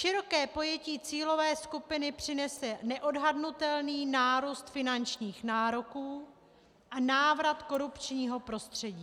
Široké pojetí cílové skupiny přinese neodhadnutelný nárůst finančních nároků a návrat korupčního prostředí.